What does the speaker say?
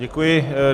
Děkuji.